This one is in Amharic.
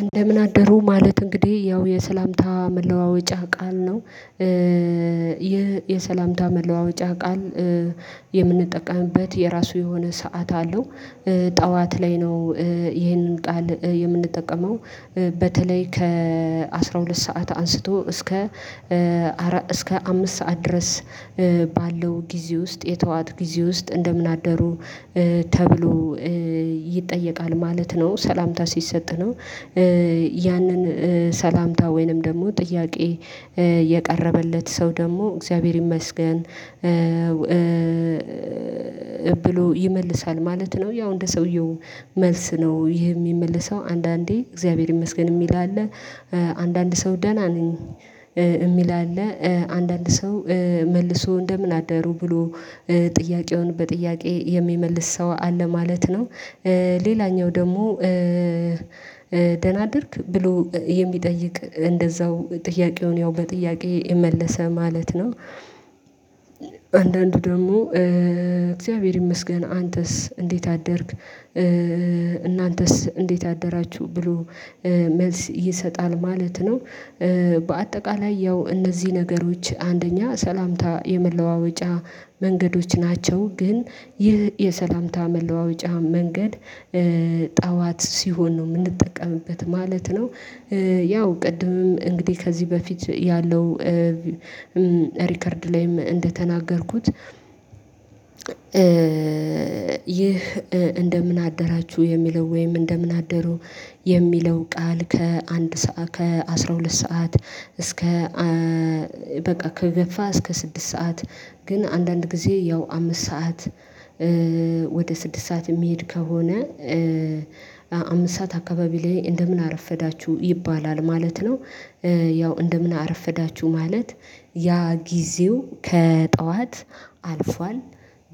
እንደምን አደሩ ማለት እንግዲህ ያው የሰላምታ መለዋወጫ ቃል ነው። ይህ የስላምታ መለዋወጫ ቃል። የምንጠቀምበት የራሱ የሆነ ሰዓት አለው። ጠዋት ላይ ነው። ይሄንን ጣል የምንጠቀመው በተለይ ከአስራሁለት ስዓት ሰዓት አንስቶ። እስከ አምስት ሰዓት ድረስ። ባለው ጊዜ ውስጥ የጥዋት ጊዜ ውስጥ እንደምን አደሩ? ተብሎ ይጠየቃል ማለት ነው ሰላምታ ሲሰጥ ነው። ያንን ሰላምታ ወይንም ደግሞ ጥያቄ። የቀረበለት ሰው ደግሞ እግዚአብሔር ይመስገን። ብሎ ይመልሳል ማለት ነው። ያው እንደ ሰውየው መልስ ነው ይሄ የሚመልሰው አንዳንዴ እግዚአብሔር ይመስገን የሚል አለ። አንዳንድ ሰው ደህና ነኝ ሚል አለ አንዳንድ ሰው መልሶ እንደምን አደሩ ብሎ ጥያቄውን በጥያቄ የሚመልስ ሰው አለ ማለት ነው። ሌላኛው ደግሞ ደህና አደርክ ብሎ የሚጠይቅ እንደዛው ጥያቄውን ያው በጥያቄ መለሰ ማለት ነው። አንዳንዱ ደግሞ እግዚአብሔር ይመስገን አንተስ እንዴት አደርክ? እናንተስ እንዴት አደራችሁ ብሎ መልስ ይሰጣል ማለት ነው። በአጠቃላይ ያው እነዚህ ነገሮች አንደኛ ሰላምታ የመለዋወጫ መንገዶች ናቸው። ግን ይህ የሰላምታ መለዋወጫ መንገድ ጠዋት ሲሆን ነው የምንጠቀምበት ማለት ነው። ያው ቅድምም እንግዲህ ከዚህ በፊት ያለው ሪከርድ ላይም እንደተናገርኩት። ይህ እንደምን አደራችሁ የሚለው ወይም እንደምን አደሩ የሚለው ቃል ከአስራ ሁለት ሰዓት እስከ በቃ ከገፍ እስከ ስድስት ሰዓት። ግን አንዳንድ ጊዜ ያው አምስት ሰዓት ወደ ስድስት ሰዓት የሚሄድ ከሆነ። አምስት ሰዓት አካባቢ ላይ እንደምን አረፈዳችሁ ይባላል ማለት ነው። ያው እንደምን አረፈዳችሁ ማለት ያ ጊዜው ከጠዋት አልፏል።